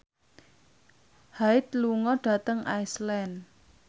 Hyde lunga dhateng Iceland